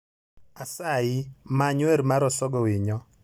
asayi, many wer mar Osogo Winyo